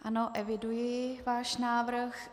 Ano, eviduji váš návrh.